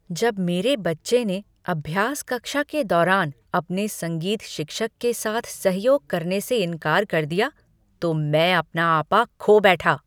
जब मेरे बच्चे ने अभ्यास कक्षा के दौरान अपने संगीत शिक्षक के साथ सहयोग करने से इनकार कर दिया तो मैं अपना आपा खो बैठा।